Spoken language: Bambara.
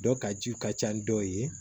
Dɔ ka jiw ka ca dɔw ye